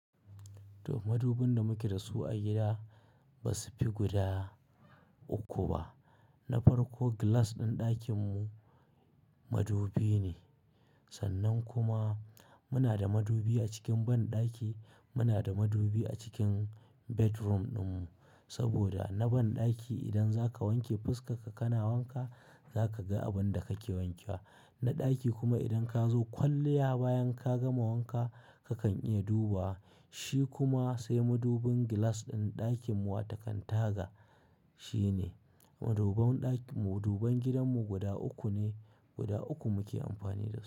To madubin da muke da su a gida ba su fi guda uku ba. Na farko glass ɗin ɗakin mu, madubi ne. Sannan kuma muna da madubi a cikin banɗaki, muna da madubi a cikin bedroom ɗin mu. Saboda na banɗaki idan zaka wanke fuskar ka kana wanka, zaka ga abin da kake wanke wa. Na ɗaki kuma idan ka zo kwalliya bayan ka gama wanka, kakan iya dubawa Shi kuma sai madubin glass ɗin ɗakin mu wata kan taga, shi ne. Maduban gidan mu guda uku ne, guda uku muke amfani da su.